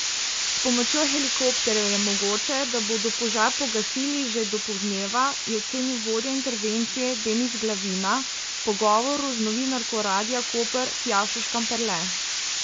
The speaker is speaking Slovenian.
S pomočjo helikopterjev je mogoče, da bodo požar pogasili že do poldneva, je ocenil vodja intervencije Denis Glavina v pogovoru z novinarko Radia Koper Tjašo Škamperle.